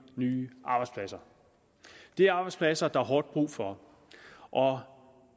nye arbejdspladser det er arbejdspladser der er hårdt brug for og